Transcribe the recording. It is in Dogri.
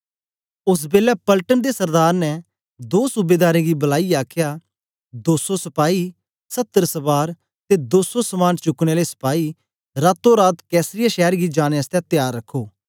ओस बेलै पलटन दे सरदार ने दो सूबेदारें गी बलाईयै आखया दो सौ सपाई सत्तर सवार ते दो सौ समान चुकने आले सपाई रातो रात कैसरिया शैर गी जाने आसतै त्यार रखो